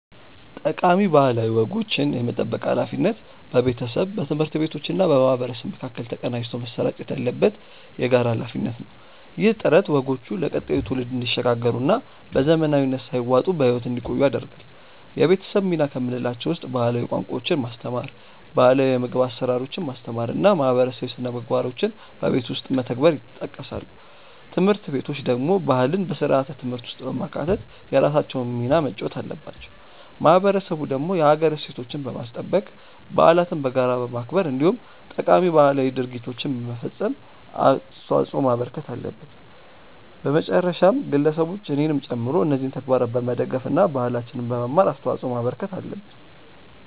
ጠቃሚ ባህላዊ ወጎችን የመጠበቅ ሃላፊነት በቤተሰብ፣ በትምህርት ቤቶችና በማህበረሰብ መካከል ተቀናጅቶ መሰራጨት ያለበት የጋራ ሃላፊነት ነው። ይህ ጥረት ወጎቹ ለቀጣዩ ትውልድ እንዲሸጋገሩና በዘመናዊነት ሳይዋጡ በህይወት እንዲቆዩ ያደርጋል። የቤተሰብ ሚና ከምንላቸው ውስጥ ባህላዊ ቋንቋዎችን ማስተማር፣ ባህላው የምግብ አሰራሮችን ማስተማር እና ማህበረሰባዊ ስነምግባሮችን በቤት ውስጥ መተግበር ይጠቀሳሉ። ትምህርት ቤቶች ደግሞ ባህልን በስርዓተ ትምህርት ውስጥ በማካተት የራሳቸውን ሚና መጫወት አለባቸው። ማህበረሰቡ ደግሞ የሀገር እሴቶችን በማስጠበቅ፣ በዓለትን በጋራ በማክበር እንዲሁም ጠቃሚ ባህላዊ ድርጊቶችን በመፈፀም አስተዋጽዖ ማበርከት አለበት። በመጨረሻም ግለሰቦች እኔንም ጨምሮ እነዚህን ተግባራት በመደገፍ እና ባህላችንን በመማር አስተዋጽዖ ማበርከት አለብን።